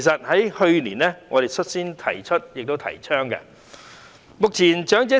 我們去年率先提出及提倡這構思。